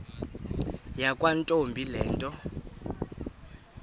yakwantombi le nto